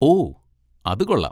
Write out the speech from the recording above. ഓ, അത് കൊള്ളാം!